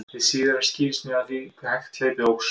hið síðara skýrist meðal annars af því hve hægt hlaupið óx